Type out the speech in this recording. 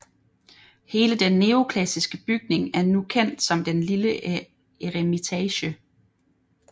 Hele den neoklassiske bygning er nu kendt som den Lille Eremitage